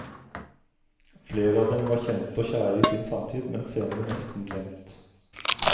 Flere av dem var kjente og kjære i sin samtid, men senere nesten glemt.